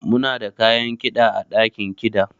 Muna da kayan kida ã dakin kida.